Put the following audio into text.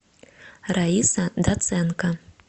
раиса доценко